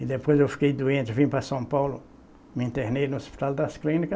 E depois eu fiquei doente, vim para São Paulo, me internei no Hospital das Clínicas.